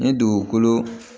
Ni dugukolo